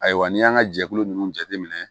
Ayiwa n'i y'an ka jɛkulu nunnu jateminɛ